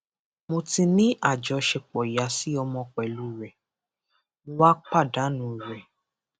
mo ti ní àjọṣepọ ìyá sí ọmọ pẹlú rẹ mo wàá pàdánù rẹ